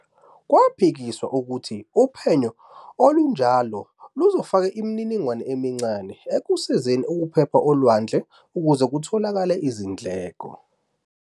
K"waphikiswa ukuthi uphenyo olunjalo luzofaka imininingwane emincane ekusizeni ukuphepha olwandle ukuze kutholakale izindleko.